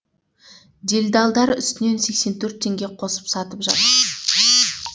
делдалдар үстінен сексен төрт теңге қосып сатып жатыр